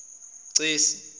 cesi